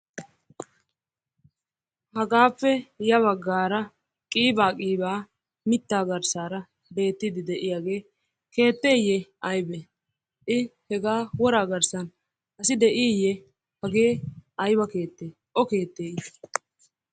Hagappe yabagara qiiba qiiba mitta garssara beettidi de'yagge keetteye aybe? I hegaa woraa garssan asi diye hagee aybba keette o keette i?